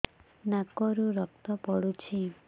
ନାକରୁ ରକ୍ତ ପଡୁଛି